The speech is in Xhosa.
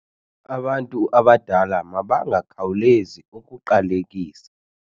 Abantu abadala mabangakhawulezi ukuqalekisa.